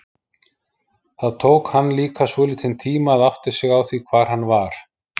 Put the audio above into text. Það tók hann líka svolítinn tíma að átta sig á því hvar hann var.